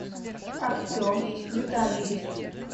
артем витальевич